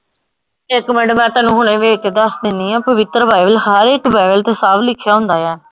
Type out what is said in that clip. ਇੱਕ ਮਿੰਟ ਮੈਂ ਤੈਨੂੰ ਹੁਣੇ ਵੇਖ ਕੇ ਦੱਸ ਦਿੰਨੀ ਆ ਪਵਿੱਤਰ ਬਾਈਬਲ ਹਰ ਇੱਕ ਬਾਈਬਲ ਚ ਸਾਫ ਲਿਖਿਆ ਹੁੰਦਾ ਆ।